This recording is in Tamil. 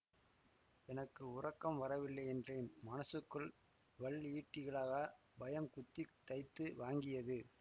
எனக்கு உறக்கம் வரவில்லை என்றேன் மனசுக்குள் வல் ஈட்டிகளாகப் பயம் குத்தித் தைத்து வாங்கியது